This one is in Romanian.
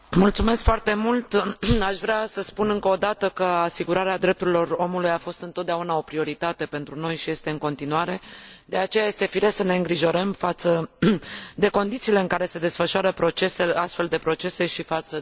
Aș vrea să spun încă o dată că asigurarea drepturilor omului a fost întotdeauna o prioritate pentru noi și este în continuare, de aceea este firesc să ne îngrijorăm față de condițiile în care se desfășoară astfel de procese și față de regimul de detenție.